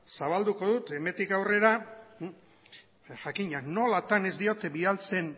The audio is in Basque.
zabalduko dut hemendik aurrera jakina nolatan ez diot bidaltzen